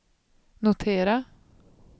notera